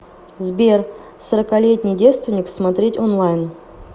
сбер сороколетний девственник смотреть онлайн